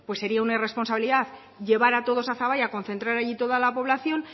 sería una irresponsabilidad llevar a todos a zaballa concentrar allí toda la población